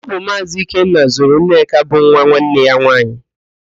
Ọ bu Maazị Ikenna zụrụ Nneka bụ nwa nwanne ya nwaanyị